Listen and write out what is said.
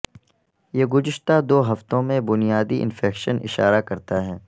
یہ گزشتہ دو ہفتوں میں بنیادی انفیکشن اشارہ کرتا ہے